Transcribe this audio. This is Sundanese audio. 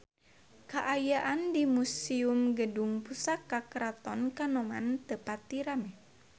Kaayaan di Museum Gedung Pusaka Keraton Kanoman teu pati rame